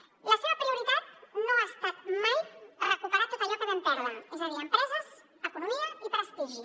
la seva prioritat no ha estat mai recuperar tot allò que vam perdre és a dir empreses economia i prestigi